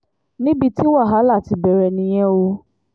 níbi tí wàhálà ti bẹ̀rẹ̀ nìyẹn o